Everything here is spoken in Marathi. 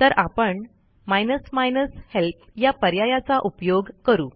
तर आपण माइनस माइनस हेल्प या पर्यायाचा उपयोग करू